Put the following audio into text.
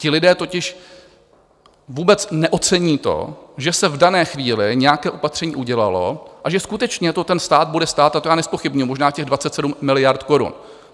Ti lidé totiž vůbec neocení to, že se v dané chvíli nějaké opatření udělalo a že skutečně to ten stát bude stát, a to já nezpochybňuji, možná těch 27 miliard korun.